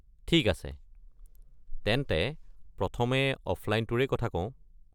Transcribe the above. ঠিক আছে, তেন্তে প্ৰথমে অফলাইনটোৰেই কথা কওঁ।